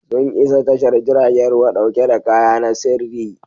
Sun isa tashar jiragen ruwa dauke da kaya na sirri.